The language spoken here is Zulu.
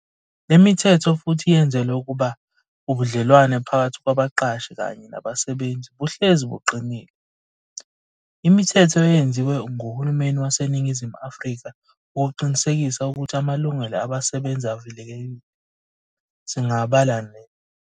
Lemithetho futhi yenzelwa ukuba ubudlelwano phakathi kwabaqashi kanye nabasebenzi buhlezi buqinile. Imithetho eyenziwe nguhululmeni waseNingizimu Afrika ukuqinisekisa ukuthi amalungelo absebenzi avikelekile, singabala le.